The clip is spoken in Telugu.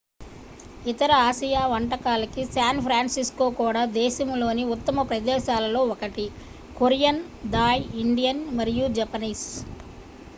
ఇతర ఆసియా వంటకాలకి శాన్ ఫ్రాన్సిస్కో కూడా దేశంలోని ఉత్తమ ప్రదేశాలలో ఒకటి కొరియన్ థాయ్ ఇండియన్ మరియు జపనీస్